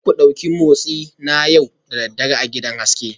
Za ku ɗauki motsi na yau da dare a gidan haske